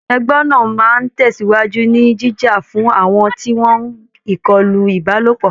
Ẹgbẹ́ náà á máa tẹ̀sìwájú ni jíjà fún àwọn tí wọ́n ìkọlù Ìbálòpọ̀